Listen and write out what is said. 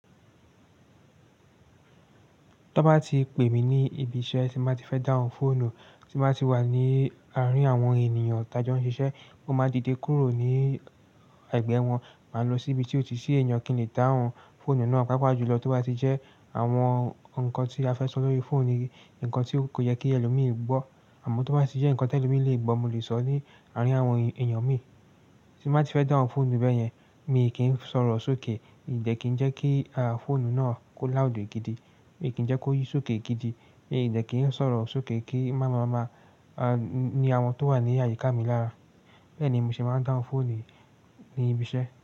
Tó bá ti pè mí ní ibi iṣẹ́ tí máa ti fẹ́ dáhùn fóònù, tí máa ti wà ní àárín àwọn ènìyàn tá jẹ́ wọ́n ń ṣiṣẹ́, kó máa di ìdíkúnrò ní ẹ̀gbẹ́ wọn. Màá lọ sí ibi tí ó ti sì èèyàn kí n lè dáhùn fóònù náà. Pápá jùlọ tó bá ti jẹ́ àwọn nǹkan tí a fẹ́ sọ lórí fóònù ni nǹkan tí kò yẹ kí ẹlòmí gbọ́. Àmọ́ tó bá ti jẹ́ nǹkan tí ẹlòmí lè gbọ́, mo lè sọ ní àárín àwọn èyàn mi. Tí máa ti fẹ́ dáhùn fóònù bẹ́yẹn, mi kì í sọ̀rọ̀ sókè. Ìdẹ́ kí ń jẹ́ kí fóònù náà kó láùdì gidi. Mi kì í jẹ́ kó yí sókè gidi. Mi ìdẹ́ kì ń sọ̀rọ̀ sókè kí máma máma ni àwọn tó wà ní àyíká mi lára. Bẹ́ẹ̀ ni mo ṣe máa ń dáhùn fóònù ní ibi iṣẹ́.